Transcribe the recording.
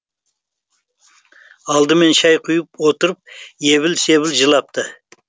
алдымен шәй құйып отырып ебіл себіл жылапты